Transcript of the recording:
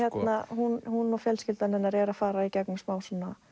hún og fjölskyldan eru að fara í gegnum smá